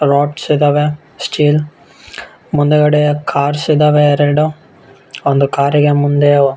lots ಇದ್ದವೇ steel ಮುಂದುಗಡೆ cars ಇದ್ದಾವೆ ಎರಡು ಒಂದು ಕಾರಿ ಗೆ ಮುಂದೆ --